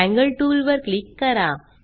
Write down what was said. angle टूलवर click करा